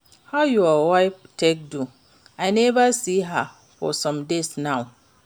How your wife take do? I never see her for some days now.